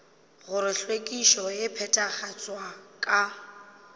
gore hlwekišo e phethagatšwa ka